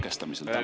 Tänan!